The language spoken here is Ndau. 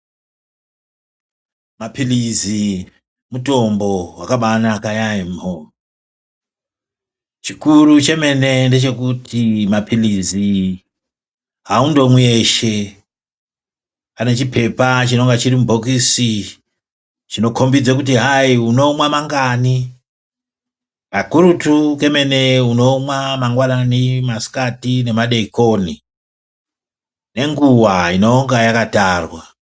Mapilizi mutombo wakabanaka yaamho. Chikuru chemene ndechokuti mapilizi aundomwi eshe. Ane chipepa chinonge chirimubhokisi chinokombidza kuti hai unomwa mangani pakurutu kemene unomwa mangwanani masikati nemadeekoni nenguva inonga yakatarwa